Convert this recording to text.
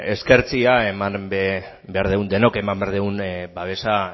eskertzea eman dugun denok eman behar dugun babesa